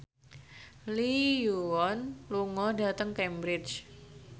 Lee Yo Won lunga dhateng Cambridge